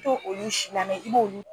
I t'olu si lamɛ